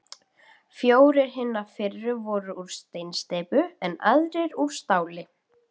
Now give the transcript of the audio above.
Fjórir hinna fyrri voru úr steinsteypu, en aðrir úr stáli.